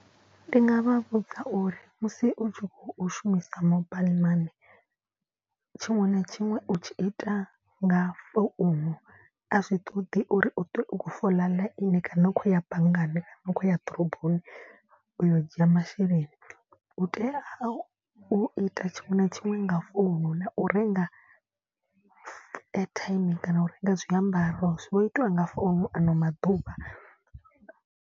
Ndi nga vha vhudza uri musi u tshi khou shumisa mobile mani. Tshiṅwe na tshiṅwe u tshi ita nga founu a zwi ṱoḓi uri u ṱwe u khou fola ḽaini kana u khou ya banngani kana u khou ya ḓoroboni u yo u dzhia masheleni. Utea u ita tshiṅwe na tshiṅwe nga founu na u renga airtime kana u renga zwiambaro zwi itiwa nga founu ano maḓuvha.